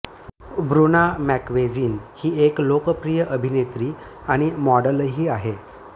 Bruna Marquezine ही एक लोकप्रिय अभिनेत्री आणि मॉडेलही आहे